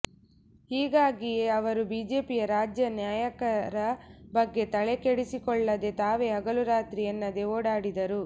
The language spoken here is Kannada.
ಹೀಗಾಗಿಯೇ ಅವರು ಬಿಜೆಪಿಯ ರಾಜ್ಯ ನಾಯಕರ ಬಗ್ಗೆ ತಲೆ ಕೆಡಿಸಿಕೊಳ್ಳದೆ ತಾವೇ ಹಗಲು ರಾತ್ರಿ ಎನ್ನದೆ ಓಡಾಡಿದರು